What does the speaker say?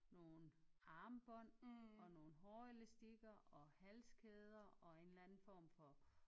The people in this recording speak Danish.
Nogle armbånd og nogle hårelastikker og halskæder og en eller anden form for